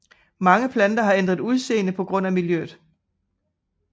Mange planter har ændret udseende på grund af miljøet